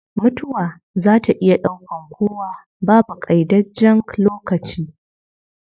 Mutuwa zaa ta iya daukan kowa, babu qaidajjen lokaci